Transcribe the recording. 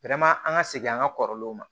an ka segin an ka kɔrɔlenw ma